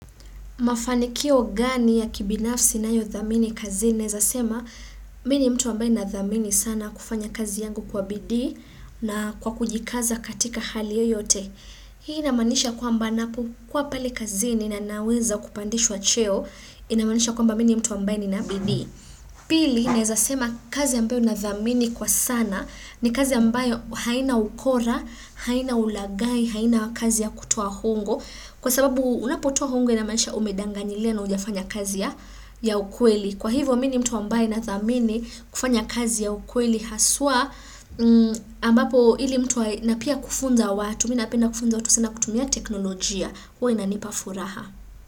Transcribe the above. Mafanikio gani ya kibinafsi inayodhamini kazini naeza sema mimi mtu ambaye nadhamini sana kufanya kazi yangu kwa bidii na kwa kujikaza katika hali yoyote. Hii inamaanisha kwamba ninapokuwa pale kazini na ninaweza kupandishwa cheo inamanisha kwamba mimi ni mtu ambayo nadhamini kwa sana ni kazi ambayo haina ukora, haina hulagai, haina kazi ya kutoa ongo. Kwa sababu unapotoa hongo inamaanisha umedanganyilia na haujafanya kazi ya ukweli. Kwa hivyo, mimi ni mtu ambaye nadhamini kufanya kazi ya ukweli haswa ambapo ili mtu wa napia kufunza watu, mimi napenda kufunza watu sana kutumia teknolojia. Huwa inanipa furaha.